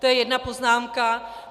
To je jedna poznámka.